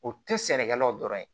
O tɛ sɛnɛkɛlaw dɔrɔn ye